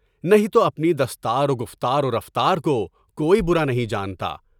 نہیں، تو اپنی دستار و گفتار و رفتار کو کوئی برا نہیں جانتا۔